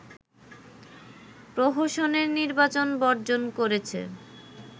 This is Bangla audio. প্রহসনের নির্বাচন বর্জন করেছে